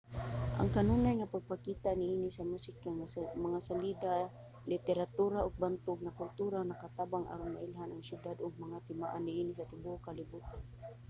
ang kanunay nga pagpakita niini sa musika mga salida literatura ug bantog nga kultura nakabatang aron mailhan ang siyudad ug mga timaan niini sa tibuok kalibotan